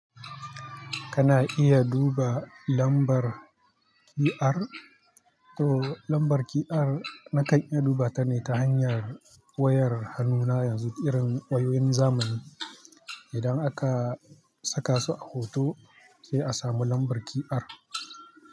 Kana iya duba lambar QR, to lambar QR na kan iya duba ta ne ta hanyar wayar hannuna yanzu irin wayoyin zamani. Idan aka sakasu a hoto sai a samu lambar QR.